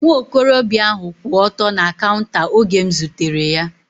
Nwa okorobịa ahu kwụ ọtọ na kaunta oge m zutere ya